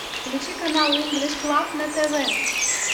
включи канал инглиш клаб на тв